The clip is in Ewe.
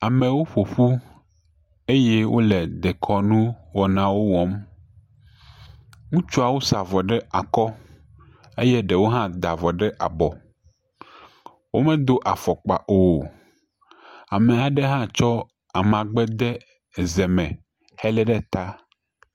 Amewo ƒoƒu eye wole dekɔnuwɔnawo ewɔm, ŋutsuawo sa avɔ ɖe akɔ eye ɖewo da avɔ ɖe abɔ, womedo afɔkpa o, ame aɖe hã tsɔ amagbe de eze me hele ɖe ta.